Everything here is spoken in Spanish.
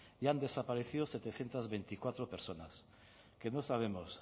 y han desaparecido setecientos veinticuatro personas que no sabemos